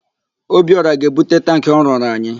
Obiọra ga-ebute tankị ọ rụrụ anyị.